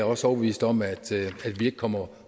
også overbevist om at vi ikke kommer